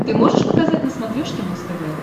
ты можешь показать на смотрешке муз тв